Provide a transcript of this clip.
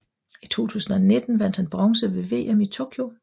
I 2019 vandt han bronze ved VM i Tokyo